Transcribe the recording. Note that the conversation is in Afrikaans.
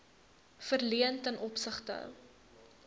verleen ten opsigte